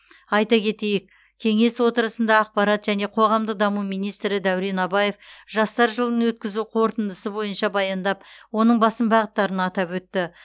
айта кетейік кеңес отырысында ақпарат және қоғамдық даму министрі дәурен абаев жастар жылын өткізу қорытындысы бойынша баяндап оның басым бағыттарын атап өтті